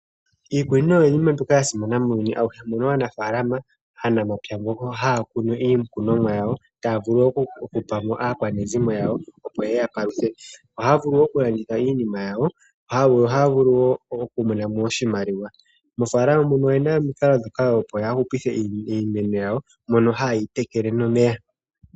Iikunino oyi iinima mbyoka ya simana muuyuni awuhe, moka anafalama ano aanamapya haya kunu iikhnomwa yawo, taya vulu oku pamo aakwanezimo yawo, opo yeya paluthe. Ohaya vulu wo oku landitha iinima yawo. Ohaya vulu wo oku monamo oshimaliwa. Moofalama moka oyena omikalo opo ya hupithe iimeno yawo moka ha yeyi tekele nomeya.